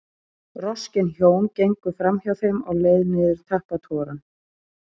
Roskin hjón gengu framhjá þeim á leið niður tappatogarann.